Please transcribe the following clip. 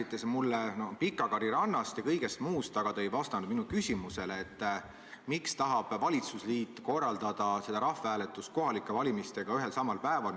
Te rääkisite Pikakari rannast ja kõigest muust, aga te ei vastanud minu küsimusele, miks tahab valitsusliit korraldada seda rahvahääletust kohalike valimistega ühel ja samal päeval.